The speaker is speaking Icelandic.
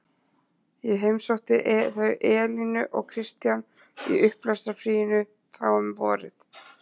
Ég heimsótti þau Elínu og Kristján í upplestrarfríinu þá um vorið.